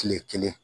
Kile kelen